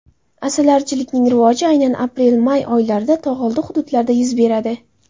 Asalarichilikning rivoji aynan aprelmay oylarida tog‘oldi hududlarida yuz beradi.